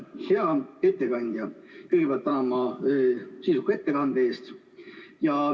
Hea ettekandja, kõigepealt tänan teid sisuka ettekande eest!